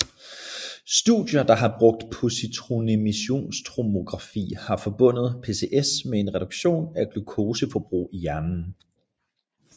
Studier der har brugt positronemissionstomografi har forbundet PCS med en reduktion af glukoseforbrug i hjernen